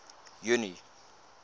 junie